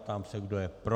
Ptám se, kdo je pro.